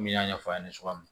N y'a ɲɛfɔ aw ɲɛna cogoya min na